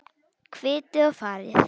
Kvittið og farið.